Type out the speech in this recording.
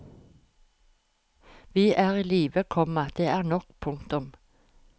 Vi er i live, komma det er nok. punktum